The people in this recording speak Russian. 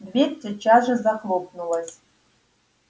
дверь тотчас же захлопнулась